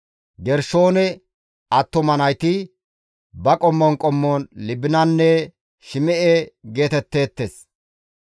Gershoone attuma nayti ba qommon qommon Libinanne Shim7e geetetteetes.